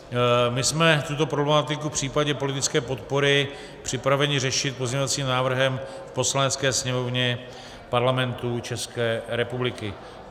My jsme tuto problematiku v případě politické podpory připraveni řešit pozměňovacím návrhem v Poslanecké sněmovně Parlamentu České republiky.